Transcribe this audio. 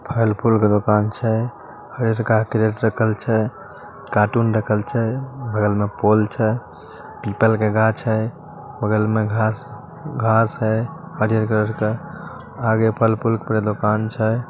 फल फूल का दुकान छे। कार्टून रखल छे। बगल में पोल छे। पीपल के गाछ है। बगल में घास-घास है हरिहर कलर का। आगे फल फूल का पूरा दुकान छे।